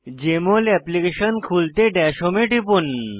JML application খুলতে dash home এ টিপুন